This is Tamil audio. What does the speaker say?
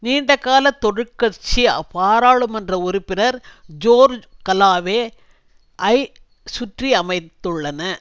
நீண்டகால தொழிற்கட்சி பாராளுமன்ற உறுப்பினர் ஜோர்ஜ் கலோவே ஐ சுற்றி அமைத்துள்ளன